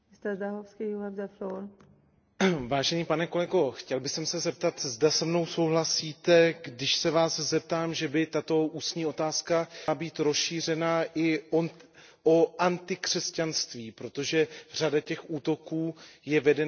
Vážený pane kolego, chtěl bych se zeptat, zda se mnou souhlasíte, když se Vás zeptám, zda by tato ústní otázka neměla být rozšířena i o antikřesťanství, protože řada těch útoků je vedena v evropských zemích i proti křesťanům.